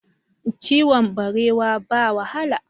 Kiwon barewa ba wahala